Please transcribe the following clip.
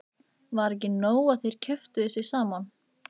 Var ekki nóg að þær kjöftuðu sig saman?